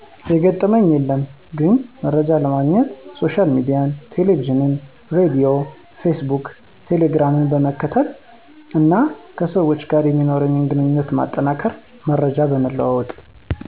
የገጠመኝ የለም ግን መርጃ ለማግኘት ሶሻል ሚዲያን ቴለቪዥን ሬድዮ ፌስቡክ ቴሌግራም ..... በመከታተል እና ከሰዎች ጋር የሚኖርኝን ግንኙነት ማጠናከር መረጃ በመለዋወጥ።